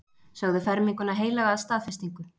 Sögðu ferminguna heilaga staðfestingu.